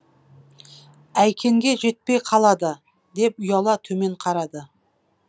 әйкенге жетпей қалады деп ұяла төмен қарады